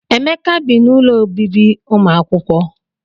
Emeka bị n'ụlọ ọbibi umuakwukwo.